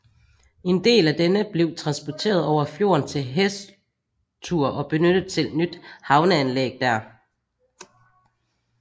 En del af denne blev transporteret over fjorden til Hestur og benyttet til nyt havneanlæg der